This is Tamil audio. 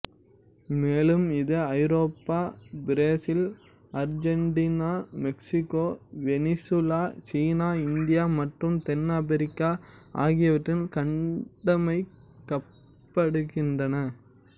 மேலும் இது Europe Brazil Argentina Mexico Venezuela China India மற்றும் தென்னாப்பிரிக்கா ஆகியவற்றில் கட்டமைக்கப்படுகின்றது